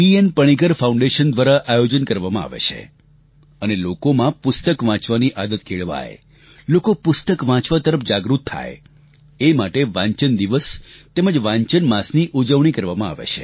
Panicker foundation દ્વારા આયોજન કરવામાં આવે છે અને લોકોમાં પુસ્તક વાંચનની આદત કેળવાય લોકો પુસ્તક વાંચવા તરફ જાગૃત થાય એ માટે વાંચન દિવસ તેમજ વાંચન માસની ઉજવણી કરવામાં આવે છે